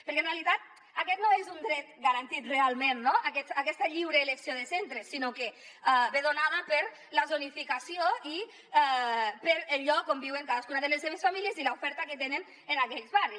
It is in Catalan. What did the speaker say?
perquè en realitat aquest no és un dret garantit realment aquesta lliure elecció de centres sinó que ve donada per la zonificació i pel lloc on viuen cadascuna de les seves famílies i l’oferta que tenen en aquells barris